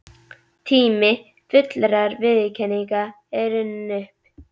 Tími fullrar viðurkenningar er runninn upp.